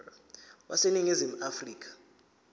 wase ningizimu afrika